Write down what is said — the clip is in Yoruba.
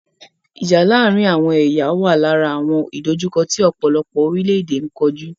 Ìjà láàárín àwọn ẹ̀yà wà lára àwọn ìdòjukọ́ tí ọ̀pọ̀lọpọ̀ orílẹ̀-èdè n kojú.